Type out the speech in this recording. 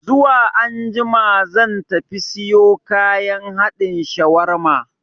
Zuwa anjima zan tafi siyo kayan haɗin shawarma